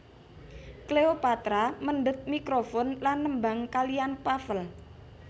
Cleopatra mendhet mikrofon lan nembang kaliyan Pavel